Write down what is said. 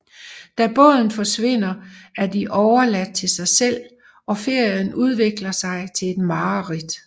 Da båden forsvinder er de overladt til sig selv og ferien udvikler sig til et mareridt